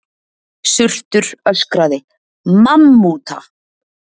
Surtur öskraði: MAMMÚTA!